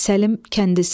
Səlim kəndisi.